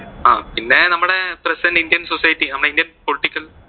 പിന്നെ നമ്മുടെ present indian society നമ്മുടെ indian political